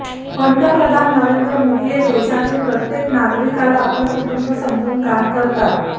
पंतप्रधान नरेंद्र मोदी हे देशातील प्रत्येक नागरिकाला आपलं कुटुंब समजून काम करतात